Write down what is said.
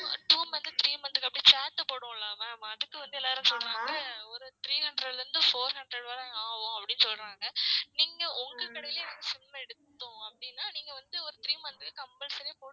Two months, three months க்கு அப்டி சேத்து போடுவோம்ல ma'am அதுக்கு வந்து எல்லாரும் சொல்றாங்க ஒரு three hundred ல இருந்து four hundred வர ஆவும் அப்டின்னு சொல்றாங்க நீங்க ஒங்க கடைலே வந்து SIM எடுத்தோம் அப்டினா நீங்க வந்து ஒரு three month க்கு compulsory ஆ